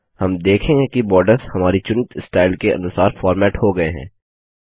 हम देखेंगे कि बॉर्डर्स हमारी चुनित स्टाइल के अनुसार फॉर्मेट हो गये हैं